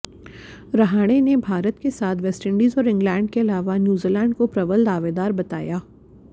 रहाणे ने भारत के साथ वेस्टइंडीज और इंग्लैंड के अलावा न्यूजीलैंड को प्रबल दावेदार बताया